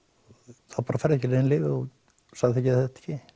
þá bara færðu ekki nein lyf ef þú samþykkir það ekki